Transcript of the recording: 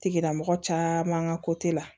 Tigilamɔgɔ caman ka ko te la